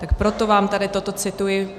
Tak proto vám tady toto cituji.